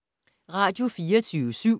Radio24syv